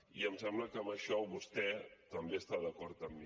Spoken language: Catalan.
i em sembla que en això vostè també està d’acord amb mi